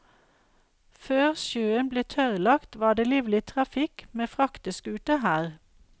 Før sjøen ble tørrlagt, var det livlig trafikk med frakteskuter her.